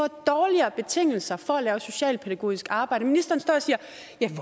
dårligere betingelser for at lave socialpædagogisk arbejde ministeren står